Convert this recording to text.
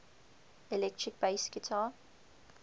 electric bass guitar